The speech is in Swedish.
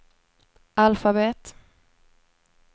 alfabet